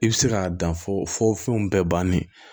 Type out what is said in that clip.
I bɛ se k'a dan fɔ fɔ fɛnw bɛɛ bannen